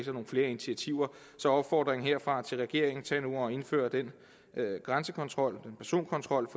nogle flere initiativer så opfordringen herfra til regeringen er tag nu at indføre den grænsekontrol den personkontrol